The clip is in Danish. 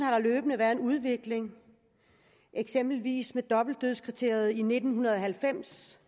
løbende været en udvikling eksempelvis dobbeltdødskriteriet i nitten halvfems